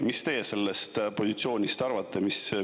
Mis teie sellest positsioonist arvate?